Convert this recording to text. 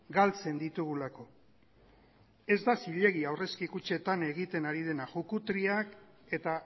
galtzen ditugulako ez da zilegi aurrezki kutxetan egiten ari dena jukutriak eta